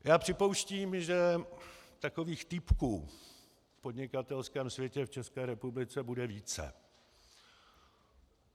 Já připouštím, že takových týpků v podnikatelském světě v České republice bude více.